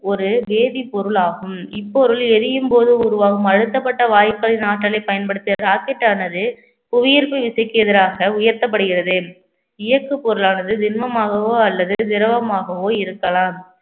ஒரு வேதிப்பொருள் ஆகும் இப்பொருள் எரியும் போது உருவாகும் அழுத்தப்பட்ட வாயுக்களின் ஆற்றலை பயன்படுத்திய rocket ஆனது புவியீர்ப்பு விசைக்கு எதிராக உயர்த்தப்படுகிறது இயக்கு பொருளானது திண்மமாகவோ அல்லது திரவமாகவோ இருக்கலாம்